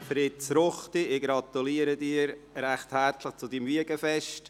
Fritz Ruchti, ich gratuliere Ihnen recht herzlich zu Ihrem Wiegenfest.